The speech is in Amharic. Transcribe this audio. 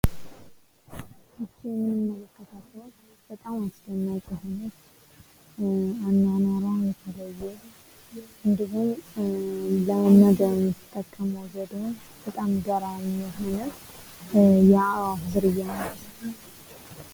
ይች የምንመለከታት ወፍ በጣም አስደናቂ የሆነች አኗኗሯ የተለየ እንዲሁም ለመመገብ የምትጠቀመዉ ዘዴ በጣም ገራሚ የሆነ የአዕዋፍ ዝርያ ናት።